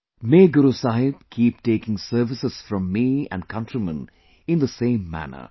May Guru Sahib keep taking services from me and countrymen in the same manner